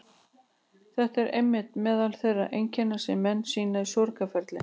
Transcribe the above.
Þetta eru einmitt meðal þeirra einkenna sem menn sýna í sorgarferli.